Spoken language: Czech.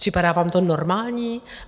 Připadá vám to normální?